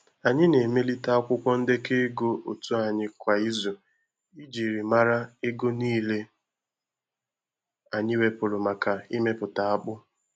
Anyị na-emelite akwụkwọ ndekọ ego otu anyị kwa ịzu ijiri mara ego nile anyi wepuru maka imepụta akpụ